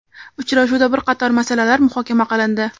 Uchrashuvda bir qator masalalar muhokama qilindi.